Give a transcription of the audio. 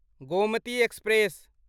Gomti express